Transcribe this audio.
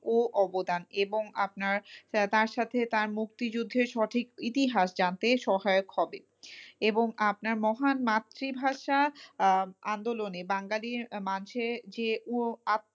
ও অবদান এবং আপনার তার সাথে তার মুক্তিযুদ্ধের সঠিক ইতিহাস জানতে সহায়ক হবে, এবং আপনার মহান মাতৃভাষা আহ আন্দোলনে বাঙালির মাঝে যে ও,